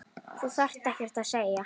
Þú þarft ekkert að segja.